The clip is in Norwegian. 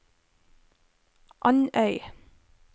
Andøy